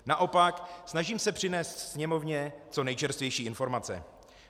Naopak, snažím se přinést Sněmovně co nejčerstvější informace.